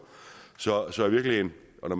og